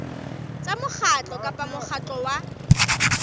tsa mokgatlo kapa mokgatlo wa